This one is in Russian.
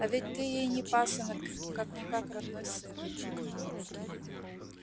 а ведь ты ей не пасынок как-никак родной сын